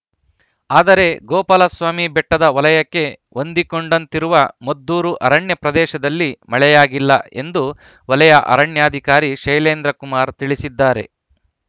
ಆದರೆ ಗೋಪಾಲಸ್ವಾಮಿ ಬೆಟ್ಟದ ವಲಯಕ್ಕೆ ಹೊಂದಿಕೊಂಡಂತಿರುವ ಮದ್ದೂರು ಅರಣ್ಯ ಪ್ರದೇಶದಲ್ಲಿ ಮಳೆಯಾಗಿಲ್ಲ ಎಂದು ವಲಯ ಅರಣ್ಯಾಧಿಕಾರಿ ಶೈಲೇಂದ್ರಕುಮಾರ್‌ ತಿಳಿಸಿದ್ದಾರೆ